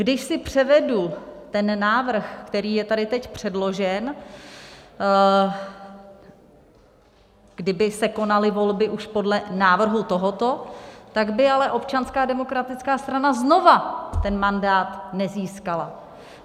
Když si převedu ten návrh, který je tady teď předložen, kdyby se konaly volby už podle návrhu tohoto, tak by ale Občanská demokratická strana znovu ten mandát nezískala.